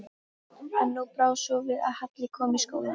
En nú brá svo við að Halli kom í skólann.